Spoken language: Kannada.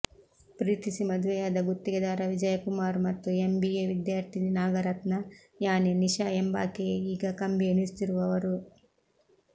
ಪ್ರೀತಿಸಿ ಮದುವೆಯಾದ ಗುತ್ತಿಗೆದಾರ ವಿಜಯಕುಮಾರ್ ಮತ್ತು ಎಂಬಿಎ ವಿದ್ಯಾರ್ಥಿನಿ ನಾಗರತ್ನ ಯಾನೆ ನಿಶಾ ಎಂಬಾಕೆಯೇ ಈಗ ಕಂಬಿ ಎಣಿಸುತ್ತಿರುವವರು